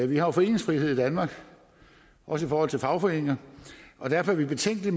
vi har jo foreningsfrihed i danmark også i forhold til fagforeninger og derfor er vi betænkelige